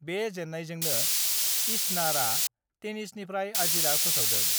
बे जेन्नायजोंनो इस्नारा टेनिसनिफ्राय आजिरा फोसावदों।